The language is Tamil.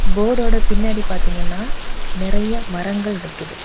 போர்டுஓட பின்னாடி பாத்தீங்கன்னா நிறைய மரங்கள் நிக்குது.